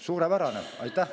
Suurepärane!